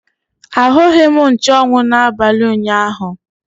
Ahụghị m nchuanwu n'abalị ụnyaahụ.